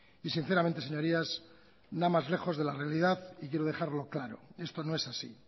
y sinceramente señorías nada más lejos de la realidad y quiero dejarlo claro esto no es así